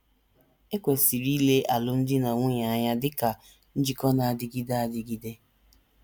E kwesịrị ile alụmdi na nwunye anya dị ka njikọ na - adịgide adịgide.